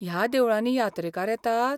ह्या देवळांनी यात्रेकार येतात?